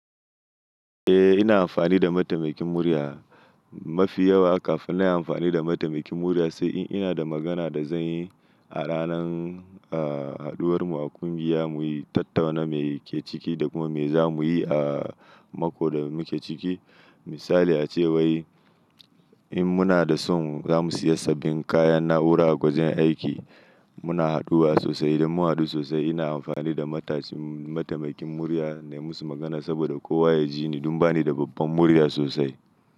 Eh ina amfani da mataimakin murya mafi yawa kafin in yi anfani damataimakin murya sai in ina da magana da zan yi a- a ranan haduwar mu a kungiya mu tattauna me ake ciki da kuma me za muyi a mako da muke ciki. Misali ace wai in muna son za mu siya sabin kayan na'ura a wajen aiki muna haduwa sosai. Idan mu hadu sosai ina amfani da mataimakin murya na yi musu magana saboda kowa ya ji ni don bani da babban murya sosai.